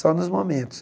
Só nos momentos.